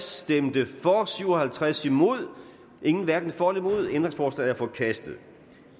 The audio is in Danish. stemte syv og halvtreds hverken for nul ændringsforslaget er forkastet